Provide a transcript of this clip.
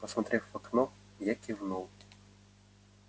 посмотрев в окно я кивнул